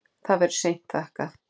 Það verður seint þakkað.